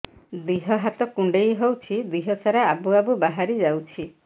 ଦିହ ହାତ କୁଣ୍ଡେଇ ହଉଛି ଦିହ ସାରା ଆବୁ ଆବୁ ବାହାରି ଯାଉଛି